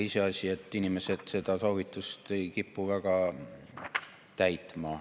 Iseasi on, et inimesed ei kipu seda soovitust väga täitma.